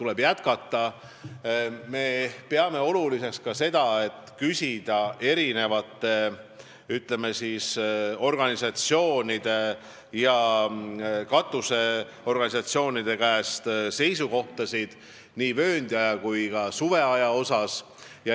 Veel peame oluliseks küsida eri organisatsioonide, sh katusorganisatsioonide seisukohta, kas on õigem vööndiaeg või suveaeg.